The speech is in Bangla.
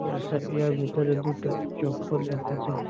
ভিতরে দুটো চপ্পল রাখা আছে।